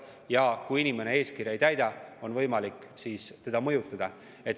Ja kui inimene eeskirja ei täida, on võimalik teda mõjutada.